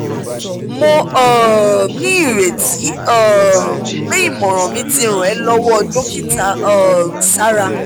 mo um ní ìrètí um pé ìmọ̀ràn mi ti ràn ẹ́ lọ́wọ́ dókítà um sara